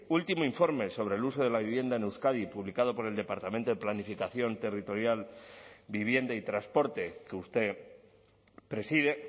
último informe sobre el uso de la vivienda en euskadi publicado por el departamento de planificación territorial vivienda y transporte que usted preside